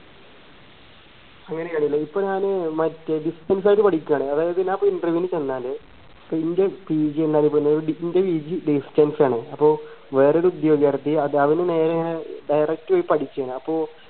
ഇപ്പൊ ഞാന് മറ്റേ distance ആയിട്ട് പഠിക്കാണ് അതായത് ഞാനിപ്പോ interview ന് ചെന്നാൽ ഇപ്പൊ ഇന്റെ PG എന്നറിയപ്പെടുന്നത് ഇന്റെ PGdistance ആണ് അപ്പൊ വേറെ ഒരു direct പോയി പഠിച്ചതാണ്